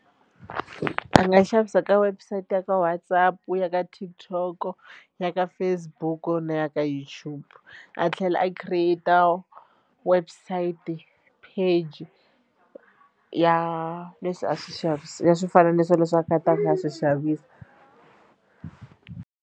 A nga xavisa ka website ya ka WhatsApp, ya ka TikTok, ya ka Facebook na ya ka YouTube a tlhela a create website page ya leswi a swi ya swinaniso leswi a a swi xavisa.